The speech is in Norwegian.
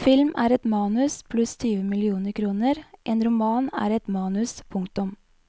Film er et manus pluss tyve millioner kroner, en roman er et manus, punktum.